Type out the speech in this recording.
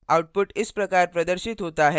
output इस प्रकार प्रदर्शित होता है: